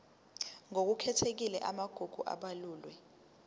ngokukhethekile amagugu abalulwe